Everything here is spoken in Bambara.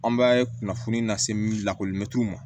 An bɛ kunnafoni lase lakoli mɛtiri ma